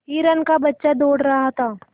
हिरण का बच्चा दौड़ रहा था